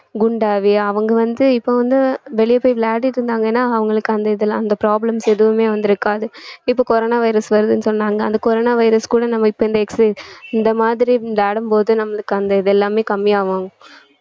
குண்டாகி அவங்க வந்து இப்ப வந்து வெளிய போய் விளையாடிட்டு இருந்தாங்கன்னா அவங்களுக்கு அந்த இதெல்லாம் அந்த problems எதுவுமே வந்திருக்காது இப்ப coronavirus வருதுன்னு சொன்னாங்க அந்த coronavirus கூட நம்ம இப்ப இந்த exer~ இந்த மாதிரி இந்த விளையாடும்போது நம்மளுக்கு அந்த இது எல்லாமே கம்மியாகும்